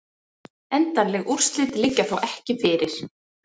Endanleg úrslit liggja þó ekki fyrir